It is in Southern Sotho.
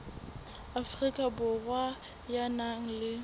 afrika borwa ya nang le